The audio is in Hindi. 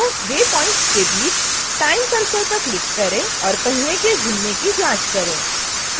2 waypoints के बीच time cursor पर क्लिक करके ड्रैग करें और पहिए के घूमने की जाँच करें